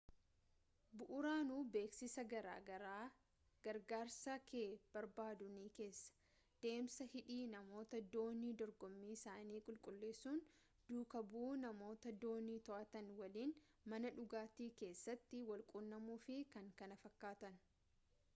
bu'uuraanuu beeksiisa gargaarsa kee barbaaduu ni keessa deemsa hidhii namoota doonii dorgommii isaanii qulqulleessan duukaa bu'uu namoota doonii to'atan waliin mana dhugaatii keessatti walquunnamuu fi kan kana fakkaatan